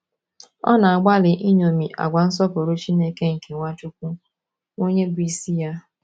Ọ na - agbalị iṅomi àgwà nsọpụrụ Chineke nke Nwachukwu, onye bụ́ isi ya.